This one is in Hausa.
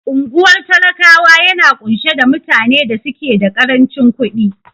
Unguwar talakawa yana ƙunshe da mutane da suke da karancin ƙudin